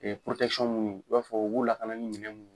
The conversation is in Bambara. minnu i b'a fɔ u b'u lakana ni minɛn mun